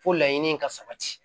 Fo laɲini ka sabati